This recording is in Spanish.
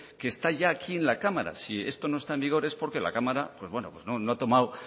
que está ya aquí en la cámara si esto no está en vigor es porque la cámara pues bueno no ha tomado